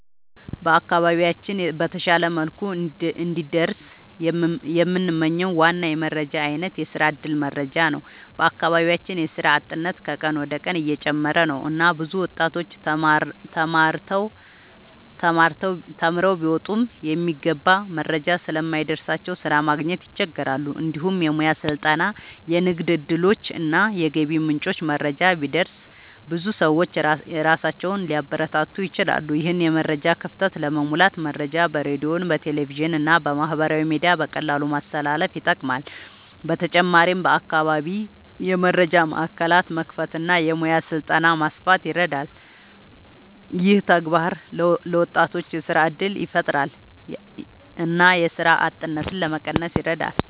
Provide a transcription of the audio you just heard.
በአካባቢያችን በተሻለ መልኩ እንዲደርስ የምንመኝው ዋና የመረጃ አይነት የስራ እድል መረጃ ነው። በአካባቢያችን የስራ አጥነት ከቀን ወደ ቀን እየጨመረ ነው እና ብዙ ወጣቶች ተማርተው ቢወጡም የሚገባ መረጃ ስለማይደርስላቸው ስራ ማግኘት ይቸገራሉ። እንዲሁም የሙያ ስልጠና፣ የንግድ እድሎች እና የገቢ ምንጮች መረጃ ቢደርስ ብዙ ሰዎች ራሳቸውን ሊያበረታቱ ይችላሉ። ይህን የመረጃ ክፍተት ለመሙላት መረጃ በሬዲዮ፣ በቴሌቪዥን እና በማህበራዊ ሚዲያ በቀላሉ ማስተላለፍ ይጠቅማል። በተጨማሪም በአካባቢ የመረጃ ማዕከላት መክፈት እና የሙያ ስልጠና ማስፋት ይረዳል። ይህ ተግባር ለወጣቶች የስራ እድል ያፈጥራል እና የስራ አጥነትን ለመቀነስ ይረዳል።